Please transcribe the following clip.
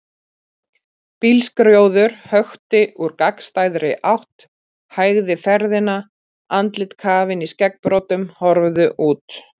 Bílskrjóður hökti úr gagnstæðri átt, hægði ferðina, andlit kafin í skeggbroddum horfðu út.